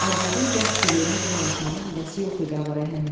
Arvadın dərd girəyinə qulaq asmağa həvəsi yox idi ağa Rəhəmin.